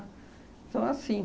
Então, assim.